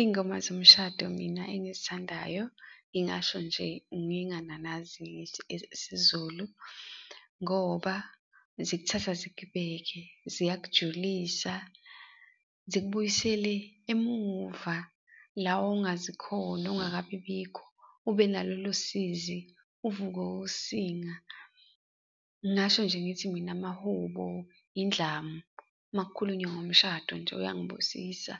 Iy'ngoma zomshado mina engizithandayo ngingasho nje ngingananazi ngithi isiZulu, ngoba zikuthatha zikubeke ziyakujulisa zikubuyisele emuva la ongazi khona ongakabibikho ube nalolo sizi, uvukwe usinga. Ngingasho nje ngithi mina, amahubo, indlamu makukhulunywa ngomshado nje uyangibusisa,